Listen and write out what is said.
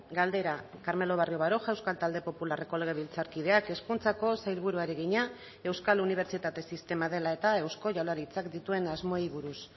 galdera carmelo barrio baroja euskal talde popularreko legebiltzarkideak hezkuntzako sailburuari egina euskal unibertsitate sistema dela eta eusko jaurlaritzak dituen asmoei buruz